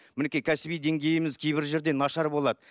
мінекей кәсіби деңгейіміз кейбір жерде нашар болады